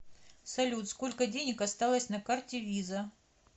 салют сколько денег осталось на карте виза